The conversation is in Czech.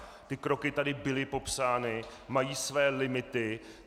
Ty kroky tady byly popsány, mají své limity.